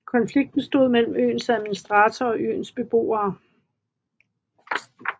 Konflikten stod mellem øens administrator og øens beboere